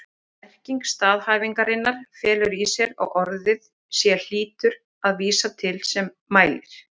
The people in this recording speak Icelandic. Merking staðhæfingarinnar felur í sér að orðið ég hlýtur að vísa til þess sem mælir.